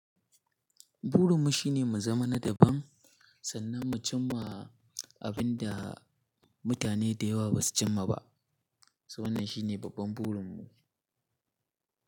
Burin mu shine mu zama na daban, sannan mu cim ma abin da mutane da yawa ba su cim ma ba. So wannan shine babban burin mu.